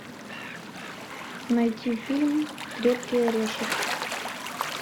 найти фильм крепкий орешек